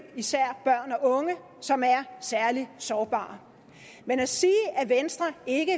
især børn og unge som er særlig sårbare men at sige at venstre ikke